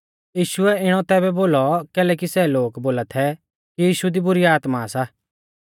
यीशुऐ इणौ तैबै बोलौ कैलैकि सै लोग बोला थै कि यीशु दी बुरी आत्मा सा